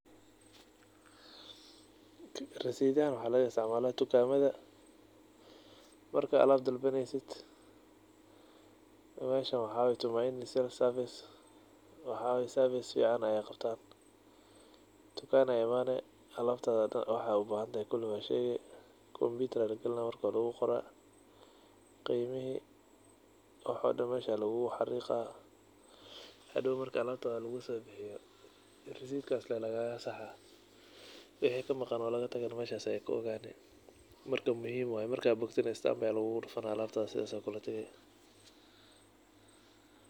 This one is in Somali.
Risiidahan waxaa laga istacmaalaa dukaamada. Marka alab dalbanaysid. Meeshan waxaa waay Tumaini sales service. Waxaa waay service ficaan ayaay qabtaan. Dukanaa imaani, alaab taada dhan kuli waxaad u baahantahay waad sheegi, computer ayaa la galinaa marka waa lugu qoraa, qiimihii waxoo dhan meeshaa luguguu xariiqa. Hadhow mark alaabtaad luguu soo bixiyo, risiit kaas ley lagaaga saxaa. Wixii kamaqan oo laga tagayna meeshas ay ka ogaani. Marka muhiim waay marka aa boktana stamp ayaa luguga dhufana alabtaa saas aa ku la tagi.